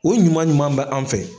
O ɲuman ɲuman bɛ an fɛ.